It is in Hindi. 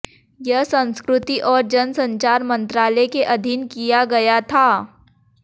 यह संस्कृति और जन संचार मंत्रालय के अधीन किया गया था